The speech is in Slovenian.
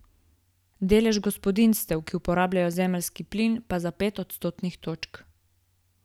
Delež gospodinjstev, ki uporabljajo zemeljski plin, pa za pet odstotnih točk.